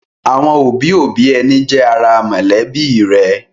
Àwọn òbí-òbí ẹni jẹ́ ara mọ̀lẹ́bí rẹ̀.